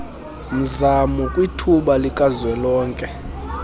mzamo kwithuba likazwelonke